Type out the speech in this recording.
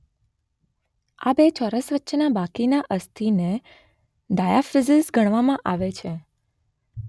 આ બે ચોરસ વચ્ચેના બાકીના અસ્થિને ડાયાફિઝિસ ગણવામાં આવે છે.